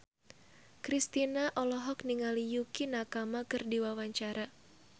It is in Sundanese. Kristina olohok ningali Yukie Nakama keur diwawancara